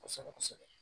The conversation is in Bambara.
Kosɛbɛ kosɛbɛ